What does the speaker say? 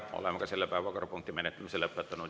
Oleme selle päevakorrapunkti menetlemise lõpetanud.